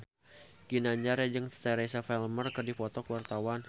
Ginanjar jeung Teresa Palmer keur dipoto ku wartawan